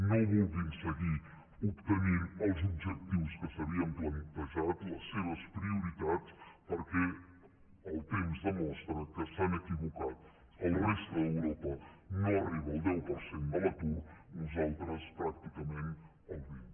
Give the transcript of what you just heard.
no vulguin seguir obtenint els objectius que s’havien plantejat les seves prioritats perquè el temps demostra que s’han equivocat la resta d’europa no arriba al deu per cent de l’atur nosaltres pràcticament al vint